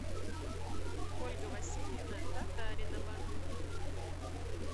ольга васильевна татаринова